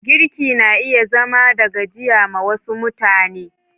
Girki na iya zama da gajiya ma wasu mutane.